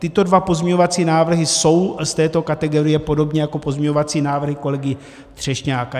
Tyto dva pozměňovací návrhy jsou z této kategorie podobně jako pozměňovací návrhy kolegy Třešňáka.